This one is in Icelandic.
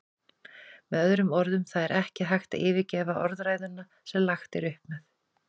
Með öðrum orðum, það er ekki hægt að yfirgefa orðræðuna sem lagt er upp með.